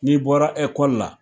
N'i bɔra ɛkɔli la.